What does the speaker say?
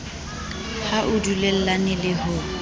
ha o dulellane le ho